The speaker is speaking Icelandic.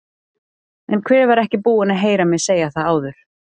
En hver var ekki búinn að heyra mig segja það áður?